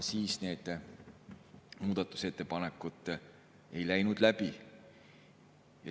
Siis need muudatusettepanekud ei läinud läbi.